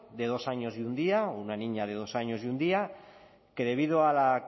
de dos años y un día o una niña de dos años y un día que debido a la